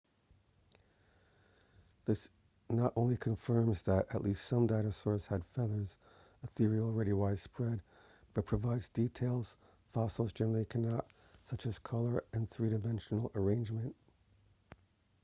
this not only confirms that at least some dinosaurs had feathers a theory already widespread but provides details fossils generally cannot such as color and three-dimensional arrangement